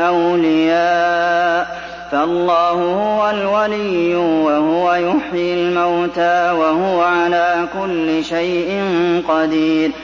أَوْلِيَاءَ ۖ فَاللَّهُ هُوَ الْوَلِيُّ وَهُوَ يُحْيِي الْمَوْتَىٰ وَهُوَ عَلَىٰ كُلِّ شَيْءٍ قَدِيرٌ